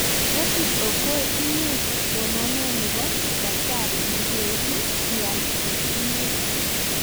Rashid okoy inye somanee ne bo Udaktari ne keibu ial ngwek